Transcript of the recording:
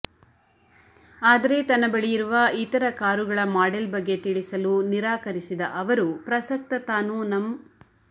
ಆದರೆ ತನ್ನ ಬಳಿಯಿರುವ ಇತರ ಕಾರುಗಳ ಮಾಡೆಲ್ ಬಗ್ಗೆ ತಿಳಿಸಲು ನಿರಾಕರಿಸಿದ ಅವರು ಪ್ರಸಕ್ತ ತಾನು ನಂ